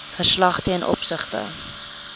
verslag ten opsigte